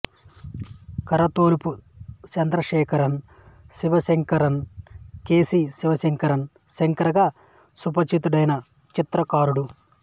కరతొలువు Chandrasekharan Sivasankaran K C Sivasankaran Shankar గా సుపరిచితుడైన చిత్రకారుడు